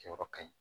Jɔyɔrɔ ka ɲi